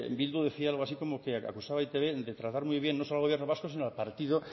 bildu decía algo así como que acusaba a e i te be de tratar muy bien no solo al gobierno vasco sino al partido